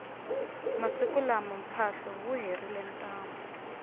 masiku lawa mphahlo wu herile ntamu